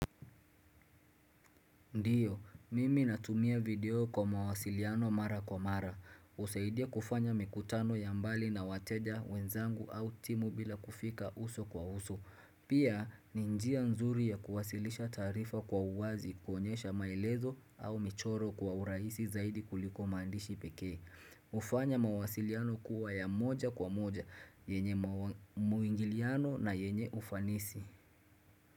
Ndiyo, mimi natumia video kwa mawasiliano mara kwa mara. Husaidia kufanya mikutano ya mbali na wateja wenzangu au timu bila kufika uso kwa uso. Pia, ni njia nzuri ya kuwasilisha taarifa kwa uwazi kuonyesha maelezo au michoro kwa urahisi zaidi kuliko maandishi pekee. Hufanya mawasiliano kuwa ya moja kwa moja, yenye mwingiliano na yenye ufanisi.